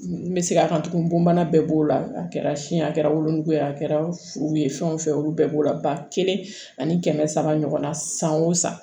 N bɛ segin a kan tugun bon bana bɛɛ b'o la a kɛra si ye a kɛra wolonugu ye a kɛra furu ye fɛn olu bɛɛ b'o la ba kelen ani kɛmɛ saba ɲɔgɔn na san o san